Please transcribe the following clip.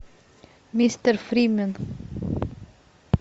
мистер фримен